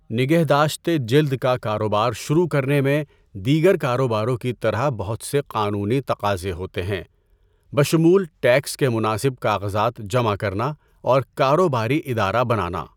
نگہداشتِ جلد کا کاروبار شروع کرنے میں دیگر کاروباروں کی طرح بہت سے قانونی تقاضے ہوتے ہیں، بشمول ٹیکس کے مناسب کاغذات جمع کرنا اور کاروباری ادارہ بنانا۔